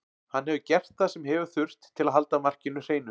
Hann hefur gert það sem hefur þurft til að halda markinu hreinu.